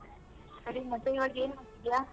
ಸರಿ ಮತ್ತೆ ಇವಾಗ ಏನ್ ಮಾಡ್ತಿದ್ಯ?